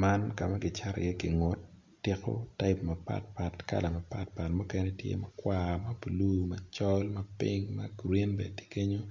Man kam kicato i ye gingut tiko type mapat pat kala mapatpat mukene tye makwar mablue macol ma pink ma green bene tye kenyo